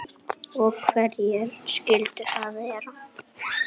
Og hverjir skyldu það vera?